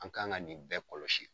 An kan ka nin bɛɛ kɔlɔsi.